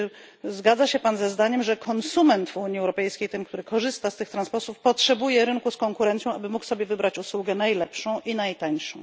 Czy zgodzi się Pan ze zdaniem, że konsument w Unii Europejskiej, ten, który korzysta z tego transportu, potrzebuje rynku, gdzie obecna jest konkurencja, aby mógł sobie wybrać usługę najlepszą i najtańszą?